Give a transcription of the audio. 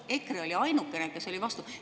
EKRE oli ainuke, kes oli vastu.